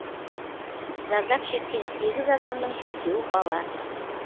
зардап шеккен сегіз адамның төртеуі бала